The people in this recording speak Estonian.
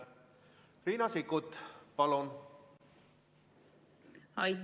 Riina Sikkut, palun!